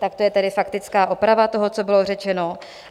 Tak to je tedy faktická oprava toho, co bylo řečeno.